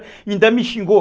Ainda me xingou.